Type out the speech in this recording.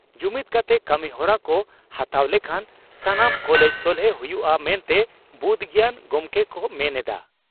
ᱡᱩᱢᱤᱫ ᱠᱟᱛᱮ ᱠᱟᱹᱢᱤᱦᱚᱨᱟ ᱠᱚ ᱦᱟᱛᱟᱣ ᱞᱮᱠᱷᱟᱱ ᱥᱟᱱᱟᱢ ᱪᱟᱞᱮᱸᱡᱽ ᱥᱚᱞᱦᱮ ᱦᱩᱭᱩᱜᱼᱟ ᱢᱮᱱᱛᱮ ᱵᱩᱫᱽ ᱜᱮᱭᱟᱱ ᱜᱚᱢᱠᱮ ᱠᱚ ᱢᱮᱱ ᱮᱫᱼᱟ ᱾